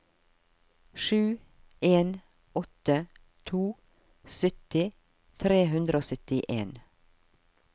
sju en åtte to sytti tre hundre og syttien